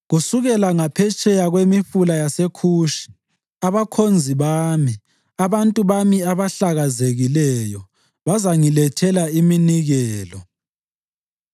Kusukela ngaphetsheya kwemifula yaseKhushi abakhonzi bami, abantu bami abahlakazekileyo, bazangilethela iminikelo.